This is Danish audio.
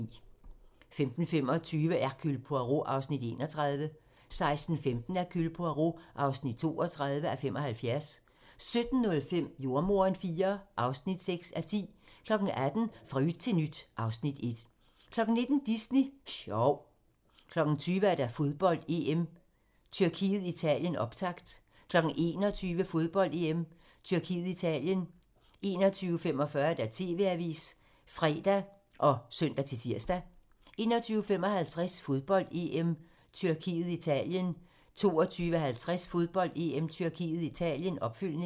15:25: Hercule Poirot (31:75) 16:15: Hercule Poirot (32:75) 17:05: Jordemoderen IV (6:10) 18:00: Fra yt til nyt (Afs. 1) 19:00: Disney Sjov 20:00: Fodbold: EM - Tyrkiet-Italien - optakt 21:00: Fodbold: EM - Tyrkiet-Italien 21:45: TV-avisen (fre og søn-tir) 21:55: Fodbold: EM - Tyrkiet-Italien 22:50: Fodbold: EM - Tyrkiet – Italien, opfølgning